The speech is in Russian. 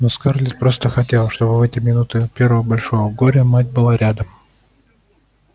но скарлетт просто хотелось чтобы в эти минуты её первого большого горя мать была рядом